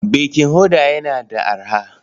Baking powder yana da arha?